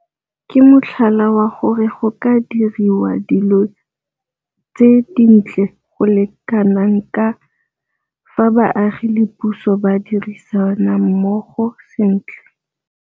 ke motlhala wa gore go ka diriwa dilo tse dintle go le kana kang fa baagi le puso ba dirisana mmogo sentle.